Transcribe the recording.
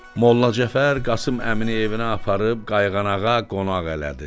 Molla Cəfər Qasım Əmini evinə aparıb qayğanağa qonaq elədi.